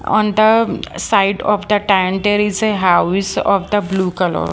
on the side of the tanter is a house of the blue color.